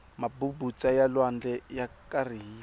mabubutsa ya lwandle ya karihile